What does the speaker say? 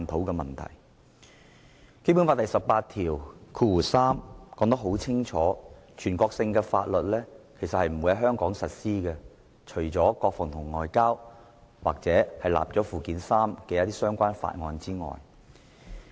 《基本法》第十八條第三款已清楚訂明，全國性法律不會在香港實施，國防、外交及已納入附件三的法律則除外。